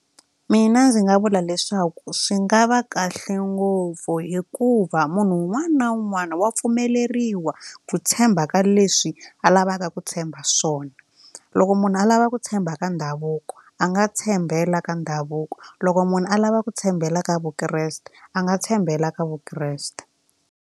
Mina ndzi nga vula leswaku swi nga va kahle ngopfu hikuva munhu un'wana na un'wana wa pfumeleriwa ku tshemba ka leswi a lavaka ku tshemba swona loko munhu a lava ku tshemba ka ndhavuko a nga tshembela ka ndhavuko loko munhu alava ku tshembela ka vukreste a nga tshembela ka vukreste.